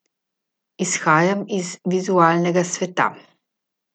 Izhajam iz vizualnega sveta.